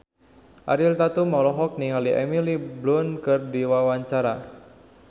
Ariel Tatum olohok ningali Emily Blunt keur diwawancara